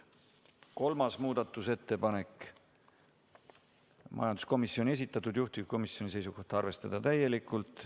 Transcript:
3. muudatusettepanek, majanduskomisjoni esitatud, juhtivkomisjoni seisukoht on arvestada täielikult.